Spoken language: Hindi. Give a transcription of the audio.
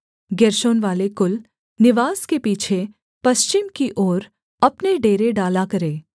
गेर्शोनवाले कुल निवास के पीछे पश्चिम की ओर अपने डेरे डाला करें